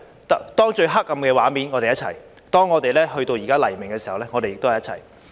當最黑暗的畫面出現時，我們在一起；現在到了黎明時，我們也在一起。